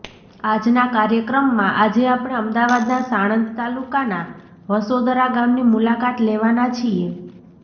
આજના કાર્યક્રમમાં આજે આપણે અમદાવાદના સાણંદ તાલુકાના વાસોદરા ગામની મુલાકાત લેવાના છીએ